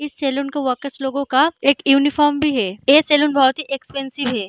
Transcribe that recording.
इस सैलून के वर्कर्स लोगो का एक यूनिफार्म भी है ये सैलून बहुत ही एक्सपेंसिव है।